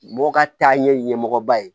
Mɔgɔw ka taaɲɛ ɲɛmɔgɔba ye